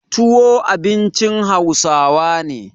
Tuwo abincin Hausawa ne.